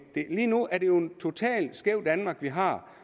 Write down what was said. lige nu er det jo et totalt skævt danmark vi har